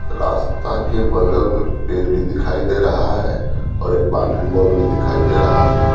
रास्ता के बगल में पेड़ भी दिखाई दे रहा है और एक बाउंड्री वॉल भी दिखाई दे रहा है।